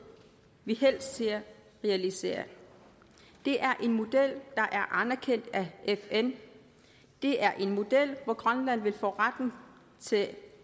vi helst ser realiseret det er en model der er anerkendt af fn det er en model hvor grønland vil få retten til